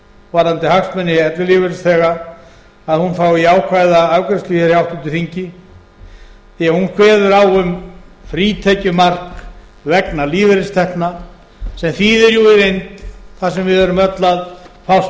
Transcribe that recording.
varðandi hagsmuni ellilífeyrisþega að hún fái jákvæða afgreiðslu hér í háttvirtri þingi því hún kveður á um frítekjumark vegna lífeyristekna sem þýðir í raun og veru það sem við erum öll að fást